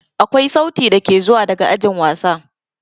Akwai sauti dake zuwa daga ajin wasa.